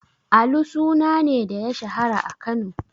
Alu suna ne da ya shahara a Kano?